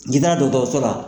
Ni taara dɔgɔtɔrɔsola.